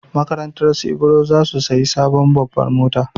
Makarantarsu Ibro za su sayi sabon babbar mota.